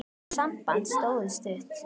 Það samband stóð stutt.